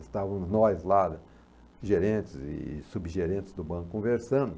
Estávamos nós lá, gerentes e subgerentes do banco, conversando.